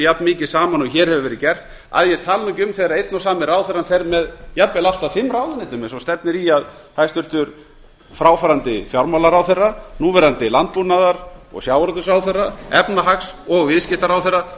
jafnmikið saman og hér hefur verið gert að ég tali ekki um þegar einn og sami ráðherrann fer með allt að fimm ráðuneytum eins og stefnir í að hæstvirts fráfarandi fjármálaráðherra núverandi sjávarútvegs og landbúnaðarráðherra efnahags og viðskiptaráðherra